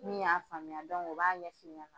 Min y'a faamuya o b'a ɲɛfi ɲɛna.